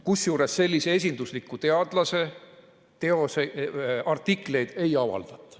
Kusjuures sellise esindusliku teadlase artikleid ei avaldatud.